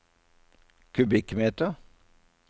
kubikkmeter